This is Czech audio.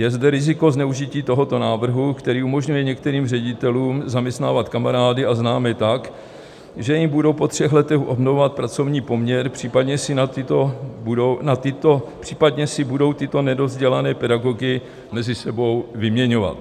Je zde riziko zneužití tohoto návrhu, který umožňuje některým ředitelům zaměstnávat kamarády a známé tak, že jim budou po třech letech obnovovat pracovní poměr, případně si budou tyto nedovzdělané pedagogy mezi sebou vyměňovat.